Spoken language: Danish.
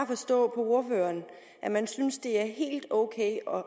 forstå på ordføreren at man synes det er helt ok og